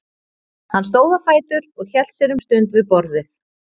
Hann stóð á fætur og hélt sér um stund við borðið.